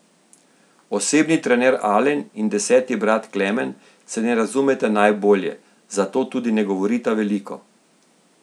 Osebni trener Alen in deseti brat Klemen se ne razumeta najbolje, zato tudi ne govorita veliko.